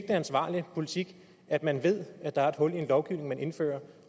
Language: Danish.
ansvarlig politik at man ved at der er et hul i en lovgivning som man indfører